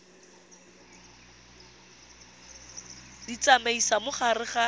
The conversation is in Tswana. di tsamaisa mo gare ga